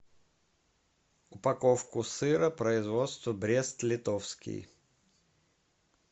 упаковку сыра производства брест литовский